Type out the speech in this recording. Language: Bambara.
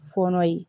Fɔɔnɔ yen